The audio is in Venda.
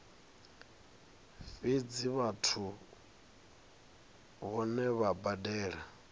fhedzi vhathusi vhohe vha badela